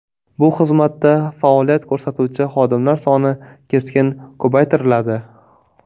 Bu xizmatda faoliyat ko‘rsatuvchi xodimlar soni keskin ko‘paytiriladi.